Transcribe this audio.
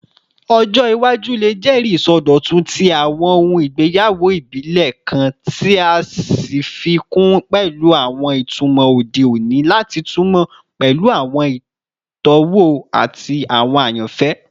Ọjọ iwaju le jẹri isọdọtun ti awọn ohun igbeyawo ibile kan, ti a fi kun pẹlu awọn itumọ ode oni lati tunmọ pẹlu awọn itọwo ati awọn ayanfẹ